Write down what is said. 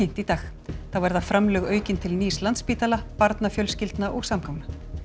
í dag þá verða framlög aukin til nýs Landspítala barnafjölskyldna og samgangna